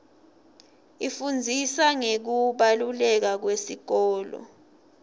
ifundzisa ngekubaluleka kwesikolo